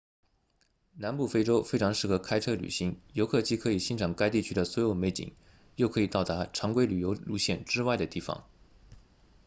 南部非洲非常适合开车旅行游客既可以欣赏该地区的所有美景又可以到达常规旅游路线之外的地方